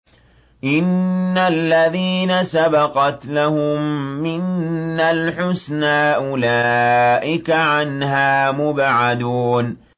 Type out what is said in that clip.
إِنَّ الَّذِينَ سَبَقَتْ لَهُم مِّنَّا الْحُسْنَىٰ أُولَٰئِكَ عَنْهَا مُبْعَدُونَ